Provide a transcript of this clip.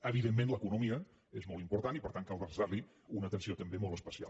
evidentment l’economia és molt important i per tant cal dedicar li una atenció també molt especial